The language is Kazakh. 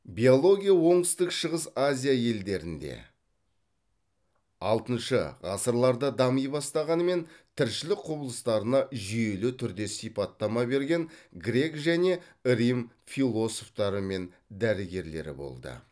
биология оңтүстік шығыс азия елдерінде алтыншы ғасырларда дами бастағанымен тіршілік құбылыстарына жүйелі түрде сипаттама берген грек және рим философтары мен дәрігерлері болды